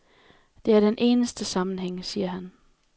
Det er den eneste sammenhæng, siger han.